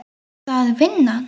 Er það vinnan?